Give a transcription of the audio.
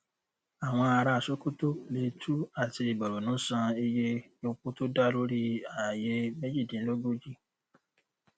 àwọn ará sokoto plateau àti borno san iye epo tó dá lórí ààyè méjìdínlógójì